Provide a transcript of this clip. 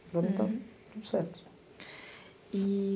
Para mim está tudo certo. E...